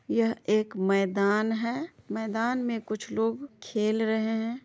यह एक मैदान हैं मैदान में कुछ लोग खेल रहे हैं।